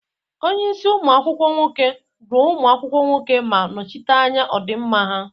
Onye isi umu akwukwo nwoke, duo ụmụ akwụkwọ nwoke ma nọchite anya ọdịmma ha.